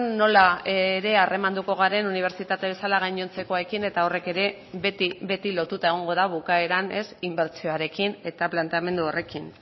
nola harremanduko garen ere unibertsitate bezala gainontzekoekin eta horrek ere beti lotuta egongo da bukaeran inbertsioarekin eta planteamendu horrekin